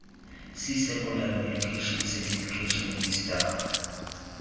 c secondary education certification vista